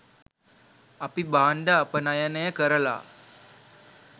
අපි භාණ්ඩ අපනයනය කරලා